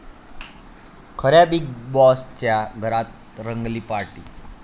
खऱ्या बिग बाॅसच्या घरात रंगली पार्टी!